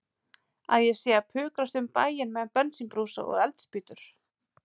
Að ég sé að pukrast um bæinn með bensínbrúsa og eldspýtur.